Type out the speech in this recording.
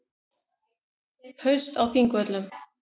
Haust á Þingvöllum.